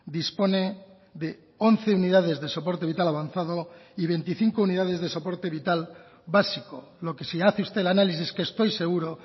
dispone de once unidades de soporte vital avanzado y veinticinco unidades de soporte vital básico lo que si hace usted el análisis que estoy seguro